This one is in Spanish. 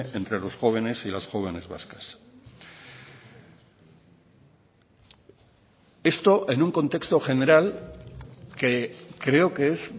entre los jóvenes y las jóvenes vascas esto en un contexto general que creo que es